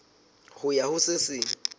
ho ya ho se seng